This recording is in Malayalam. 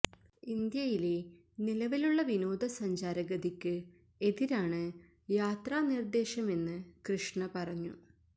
ഇന്ത്യയിലെ നിലവിലുള്ള വിനോദസഞ്ചാര ഗതിക്ക് എതിരാണ് യാത്രാ നിര്ദേശമെന്നു കൃഷ്ണ പറഞ്ഞു